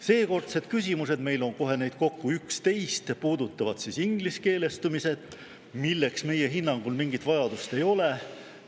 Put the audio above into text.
Seekordsed küsimused, meil on neid kohe kokku 11, puudutavad ingliskeelestumist, milleks meie hinnangul mingit vajadust ei ole.